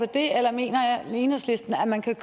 det eller mener enhedslisten at man kan